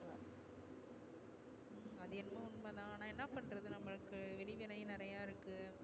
அது என்னமோ உண்ம தா ஆனா என்ன பண்றது நம்மளுக்கு வெளி வேலையும் நிறைய இருக்கு